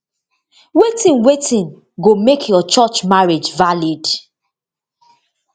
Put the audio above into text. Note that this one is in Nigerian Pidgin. wetin wetin go make your church marriage valid